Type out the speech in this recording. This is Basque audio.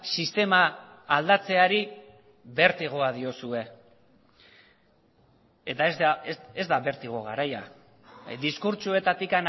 sistema aldatzeari bertigoa diozue eta ez da bertigo garaia diskurtsoetatik